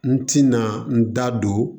N tɛna n da don